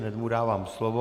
Hned mu dávám slovo.